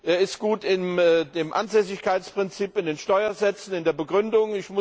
Er ist gut im Ansässigkeitsprinzip, in den Steuersätzen, in der Begründung.